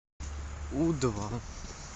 у два